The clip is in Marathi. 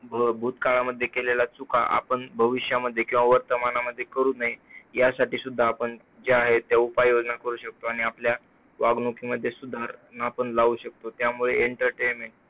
भूतकाळामध्ये त्यांनी केलेला चुका आपण वर्तमानामध्ये किंवा भविष्य काळामध्ये करू नये, ज्या आहेत त्या उपाययोजना करू शकतो. आणि आपल्या वागणुकीमध्ये सुद्धा लावू शकतो त्यामुळे entertainment